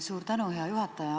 Suur tänu, hea juhataja!